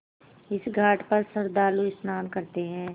इस घाट पर श्रद्धालु स्नान करते हैं